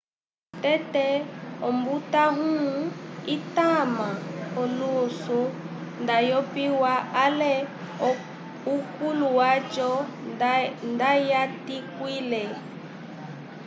tete ombutãwu itama olusu ndayopiwa ale ukolo waco ndayatikuwile